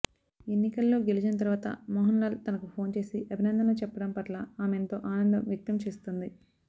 ఎన్నికల్లో గెలిచిన తర్వాత మోహనల్లాల్ తనకు ఫోన్ చేసి అభినందనలు చెప్పడం పట్ల ఆమెంతో ఆనందం వ్యక్తం చేస్తుంది